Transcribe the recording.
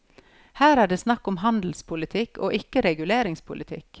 Her er det snakk om handelspolitikk og ikke reguleringspolitikk.